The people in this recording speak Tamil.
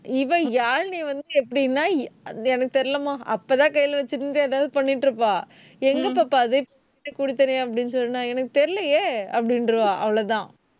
இவ யாழினி வந்து எப்படின்னா அது எனக்கு தெரியலம்மா. அப்பதான் கையில வச்சிருந்து ஏதாவது பண்ணிட்டு இருப்பா. எங்க பாப்பா அது? இப்பதான் குடுத்தேனே அப்படின்னு சொன்னா எனக்கு தெரியலையே, அப்படின்றுவா அவ்வளவுதான்